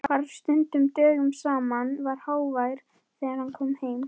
Hvarf stundum dögum saman, var hávær þegar hann kom heim.